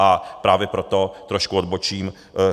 A právě proto trošku odbočím.